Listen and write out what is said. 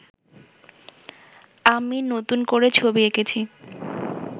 আমি নতুন করে ছবি এঁকেছি